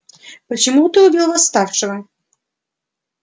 почему ты убил восставшего